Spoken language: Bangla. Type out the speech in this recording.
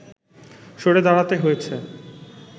সরে দাঁড়াতে হয়েছে